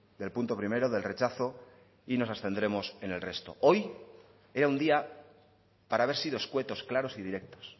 del punto primero del rechazo y nos abstendremos en el resto hoy era un día para haber sido escuetos claros y directos